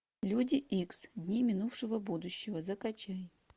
люди икс дни минувшего будущего закачай